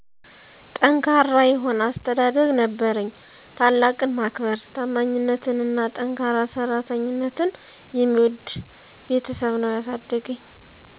ጠንካራ የሆነ አስተዳደግ ነበረኝ። ታላቅን ማክበር; ታማኝነትንና ጠንካራ ሠራተኝነትን የሚወድ ቤተሠብ ነው ያሣደገኝ።